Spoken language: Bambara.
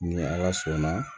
Ni ala sɔnna